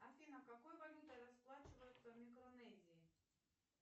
афина какой валютой расплачиваются в микронезии